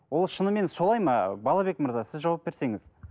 ол шынымен солай ма балабек мырза сіз жауап берсеңіз